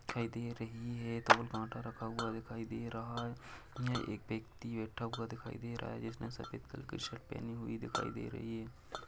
दिखाई दे रही है दो रखा हुआ दिखाई दे रहा है यह एक व्यक्ति बैठा हुआ दिखाई दे रहा है जिसने सफ़ेद कलर की शर्ट पहनी हुई दिखाई दे रही है।